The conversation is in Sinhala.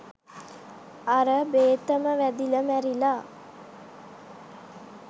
අර බේතම වැදිල මැරිලා.